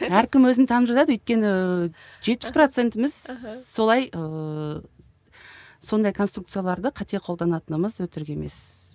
әркім өзін танып жатады өйткені жетпіс процентіміз солай ыыы сондай конструкцияларды қате қолданатынымыз өтірік емес